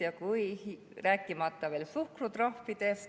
Suhkrutrahvidest ma ei räägigi.